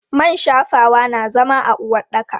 Man shafawa na zama a uwaɗɗaka.